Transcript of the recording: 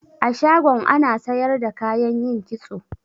A shagon ana sayar da kayan yin kitso.